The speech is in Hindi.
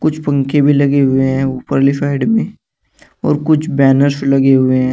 कुछ पंखे भी लगे हुए हैं ऊपरली साइड में और कुछ बैनर्स लगे हुए हैं।